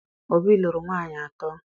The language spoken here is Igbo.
Obi lụrụ nwaanyị atọ